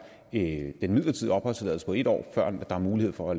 en midlertidig opholdstilladelse på en år før der er mulighed for